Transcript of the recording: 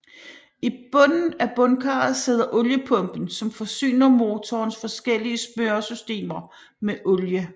I bunden af bundkarret sidder oliepumpen som forsyner motorens forskellige smøresystemer med olie